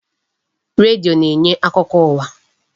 Redio na-enye akụkọ ụwa.